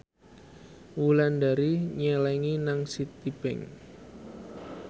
Wulandari nyelengi nang Citibank